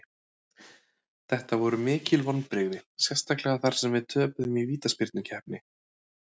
Þetta voru mikil vonbrigði, sérstaklega þar sem við töpuðum í vítaspyrnukeppni.